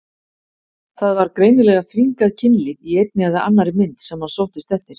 Það var greinilega þvingað kynlíf í einni eða annarri mynd sem hann sóttist eftir.